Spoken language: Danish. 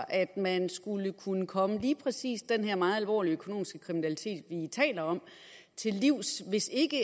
at man skulle kunne komme lige præcis den her meget alvorlige økonomiske kriminalitet vi taler om til livs hvis ikke